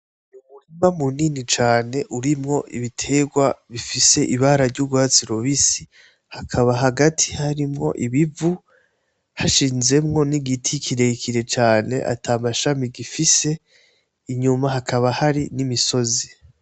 Umurima munini cane urimwo ibiterwa bifise ibara ry'urwatsi rubisi ,hakaba hagati harimwo ibivu, hashinzemwo n'igiti kirekire cane atamashami gifise, inyuma hakaba hari n'imisozi .